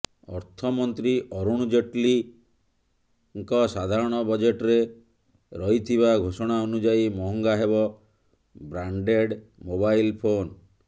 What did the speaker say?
ଅର୍ଥମନ୍ତ୍ରୀ ଅରୁଣ ଜେଟ୍ଲୀ ସାଧାରଣ ବଜେଟ୍ରେ କରିଥିବା ଘୋଷଣା ଅନୁଯାୟୀ ମହଙ୍ଗା ହେବ ବ୍ରାଣ୍ଡେଡ଼୍ ମୋବାଇଲ୍ ଫୋନ୍